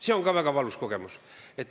See on ka väga valus kogemus.